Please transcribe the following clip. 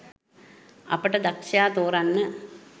අපට.දක්ශයා තෝරන්න